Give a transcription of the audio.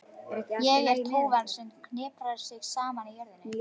Ég er tófan sem hniprar sig saman í jörðinni.